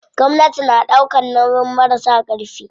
Gwamnati na ɗaukan nauyin marasa ƙarfi.